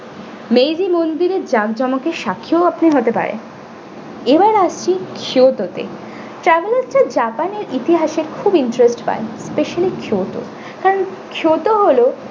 meyri মন্দিরের যাক জমকের সাক্ষীও আপনি হতে পারেন এবার আসছি kyoto তে travellers রা জাপানের ইতিহাসে খুব interest পান especially kyoto কারণ kyoto হল।